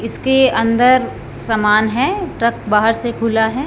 इसके अंदर समान है ट्रक बाहर से खुला है।